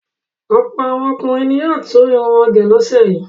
Ọ̀pọ̀ àwọn ọkùnrin ni yóò tún irun wọn gẹ̀ lọ́sẹ̀ yìí.